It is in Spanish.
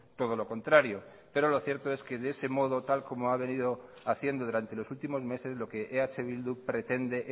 todo lo contrario pero lo cierto es que de ese modo tal y como ha venido haciendo durante los últimos meses lo que eh bildu pretende